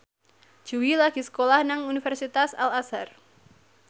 Jui lagi sekolah nang Universitas Al Azhar